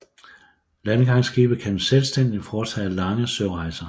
Landgangsskibe kan selvstændigt foretage lange sørejser